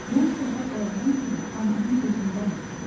“Mən səhər oyanan kimi anamın üzündən öpdüm.”